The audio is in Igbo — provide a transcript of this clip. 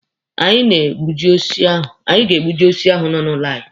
Anyị ga-egbuji osisi ahụ nọ n'ụlọ anyị.